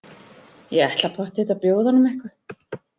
Ég ætla pottþétt að bjóða honum eitthvað.